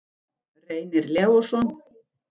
Reynir Leósson.